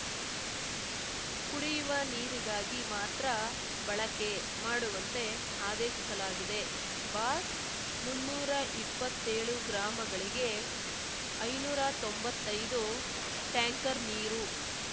ಕುಡಿಯುವ ನೀರಿಗಾಗಿ ಮಾತ್ರ ಬಳಕೆ ಮಾಡುವಂತೆ ಆದೇಶಿಸಲಾಗಿದೆ ಬಾಕ್ಸ್‌ ಮುನ್ನೂರ ಇಪ್ಪತ್ತೇಳು ಗ್ರಾಮಗಳಿಗೆ ಐನೂರ ತೊಂಬತ್ತೈದು ಟ್ಯಾಂಕರ್‌ ನೀರು